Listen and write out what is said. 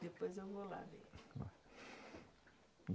Depois eu vou lá ver.